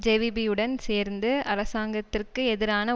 JVP யுடன் சேர்ந்து அரசாங்கத்திற்கு எதிரான